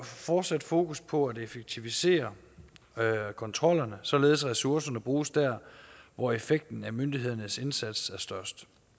fortsat fokus på at effektivisere kontrollerne således at ressourcerne bruges dér hvor effekten af myndighedernes indsats er størst